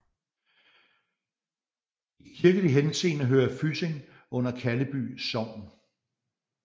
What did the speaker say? I kirkelig henseende hører Fysing under Kalleby Sogn